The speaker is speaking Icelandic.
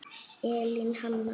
Elín Hanna.